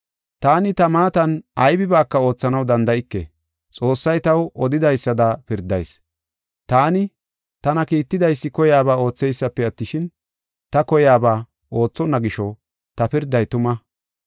“Taani ta maatan aybibaaka oothanaw danda7ike. Xoossay taw odidaysada pirdayis. Taani tana kiittidaysi koyaba oothaysipe attishin, ta koyaba oothonna gisho ta pirday tuma.